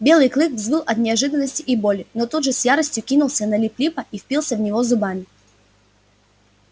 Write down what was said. белый клык взвыл от неожиданности и боли но тут же с яростью кинулся на лип липа и впился в него зубами